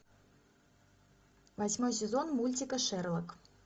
восьмой сезон мультика шерлок